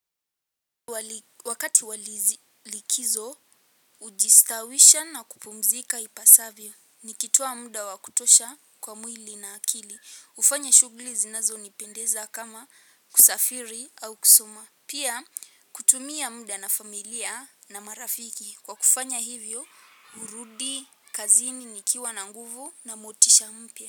Wakati wa likizo, hujistawisha na kupumzika ipasavyo. Nikitoa muda wa kutosha kwa mwili na akili. Hufanya shughuli zinazonipendeza kama kusafiri au kusoma. Pia, kutumia muda na familia na marafiki. Kwa kufanya hivyo, hurudi kazini nikiwa na nguvu na motisha mpya.